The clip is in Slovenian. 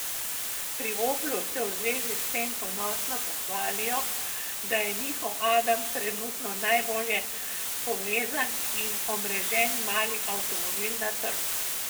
Pri Oplu se v zvezi s tem ponosno pohvalijo, da je njihov adam trenutno najbolje povezan in omrežen mali avtomobil na trgu.